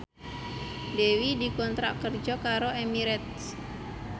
Dewi dikontrak kerja karo Emirates